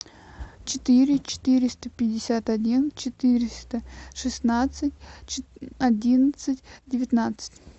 четыре четыреста пятьдесят один четыреста шестнадцать одиннадцать девятнадцать